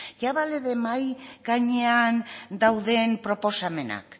ya vale de mahai gainean dauden proposamenak